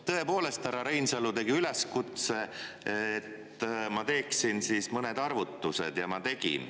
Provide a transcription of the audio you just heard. Tõepoolest, härra Reinsalu tegi üleskutse, et ma teeksin mõned arvutused ja ma tegin.